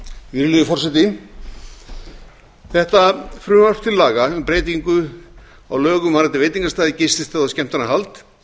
virðulegi forseti þetta frumvarp til laga um breytingu á lögum varðandi veitingastaði gististaði og skemmtanahald